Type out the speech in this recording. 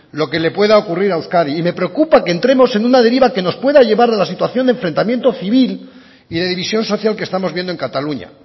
lo que le pueda ocurrir a euskadi y me preocupa que entremos en una deriva que nos pueda llevar de la situación de enfrentamiento civil y de división social que estamos viendo en cataluña